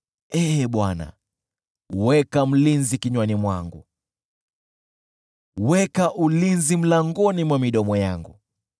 Ee Bwana , weka mlinzi kinywani mwangu, weka ulinzi mlangoni mwa midomo yangu.